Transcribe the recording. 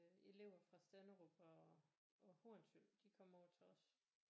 Elever fra Stenderup og Hornsyld de kom over til os